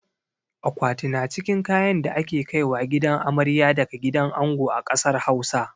Akwati na cikin kayan da ake kaiwa gidan amarya daga gidan ango a ƙasar Hausa.